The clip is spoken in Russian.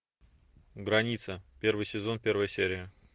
граница первый сезон первая серия